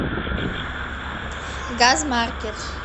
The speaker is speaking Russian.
газмаркет